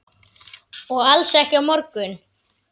Og alls ekki á morgun.